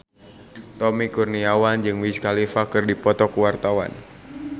Tommy Kurniawan jeung Wiz Khalifa keur dipoto ku wartawan